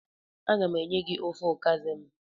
Aga m enye gi ofe okazi m.